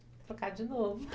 Vou trocar de novo.